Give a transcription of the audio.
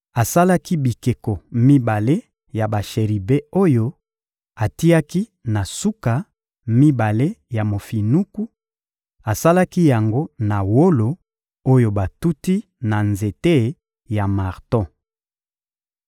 Asalaki bikeko mibale ya basheribe oyo atiaki na suka mibale ya mofinuku; asalaki yango na wolo oyo batuti na nzela ya marto.